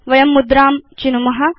वयं मुद्रां चिनुम